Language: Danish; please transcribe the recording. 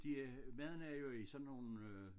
De øh maden er jo i sådan nogen øh